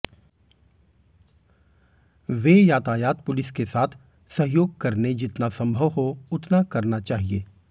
वे यातायात पुलिस के साथ सहयोग करने जितना संभव हो उतना करना चाहिए